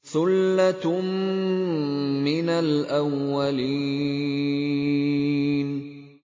ثُلَّةٌ مِّنَ الْأَوَّلِينَ